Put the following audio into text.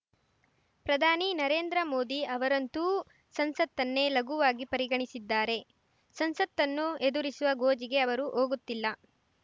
ಪ್ರಧಾನಿ ನರೇಂದ್ರ ಮೋದಿ ಅವರಂತೂ ಸಂಸತ್ತನ್ನೇ ಲಘುವಾಗಿ ಪರಿಗಣಿಸಿದ್ದಾರೆ ಸಂಸತ್ತನ್ನು ಎದುರಿಸುವ ಗೋಜಿಗೆ ಅವರು ಹೋಗುತ್ತಿಲ್ಲ